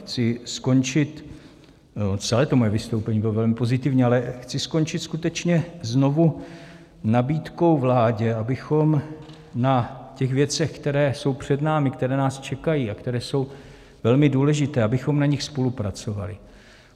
Chci skončit, celé to moje vystoupení bylo velmi pozitivní, ale chci skončit skutečně znovu nabídkou vládě, abychom na těch věcech, které jsou před námi, které nás čekají a které jsou velmi důležité, abychom na nich spolupracovali.